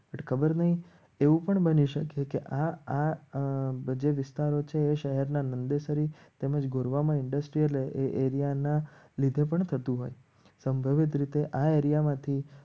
ખબર નહી એવું પણ બની શકે કે આ આ વિસ્તારો છે. એ શહેરના નંદેસરી તેમજ ગોરવામાં ઇન્ડસ્ટ્રીઅલ એરિયા ના લીધે પણ થતું હોય સંભવિત રીતે આએરિયામાં માંથી